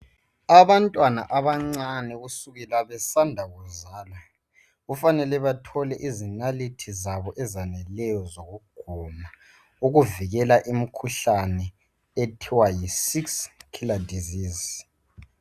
Abantwana abancane kusukela besanda kuzalwa kufanele bathole izinalithi zabo ezaneleyo zokuguna. Ukuvikela imkhuhlane ethiwa yisix killler disease.